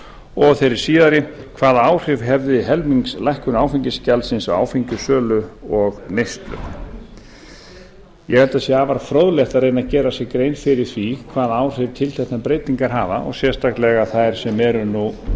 og í þeirri síðari hvaða áhrif hefði helmingslækkun áfengisgjaldsins á áfengissölu og neyslu ég held að það sé afar fróðlegt að reyna að gera sér grein fyrir því hvaða áhrif tilteknar breytingar hafa og sérstaklega þær sem eru nú